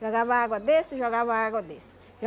Jogava água desse, jogava água desse.